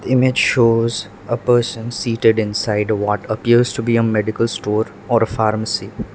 the image shows a person seated inside a what appears to be a medical store or a pharmacy.